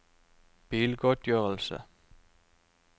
bilgodtgjørelse